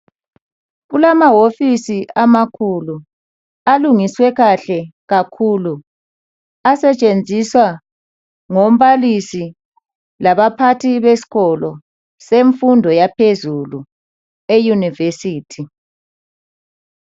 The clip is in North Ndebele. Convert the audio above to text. Kulamahofisi amakhulu alungiswe kahle kakhulu asetshenziswa ngombalisi labaphathi besikolo semfundo yaphezulu yeYunivesithi.